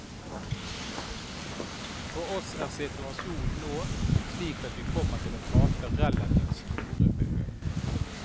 For oss er situasjonen nå slik at vi kommer til å tape relativt store beløp.